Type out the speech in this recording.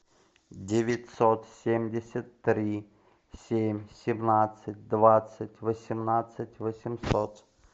девятьсот семьдесят три семь семнадцать двадцать восемнадцать восемьсот